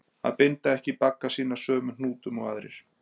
Að binda ekki bagga sína sömu hnútum og aðrir